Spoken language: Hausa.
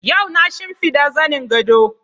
Yau na shimfiɗa zanin gado